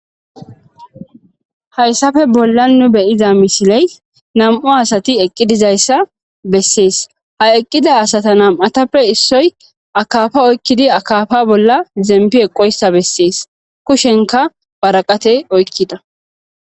Hayssappe nu be'ido bolla misile nam'u asati eqqidi diza issa beeses.ha eqqida asatan nam'atape issoyi akafa oyiqqidi akafa bolla zemifi eqqo issa beeses kushenika worate oyikkida.